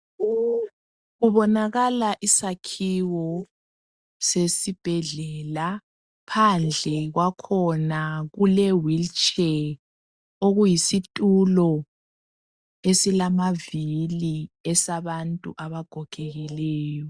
Kubonakala isakhiwo sesibhedlela, phandle kwakhona kule wheelchair okuyisitulo esilamavili esabantu abagogekileyo.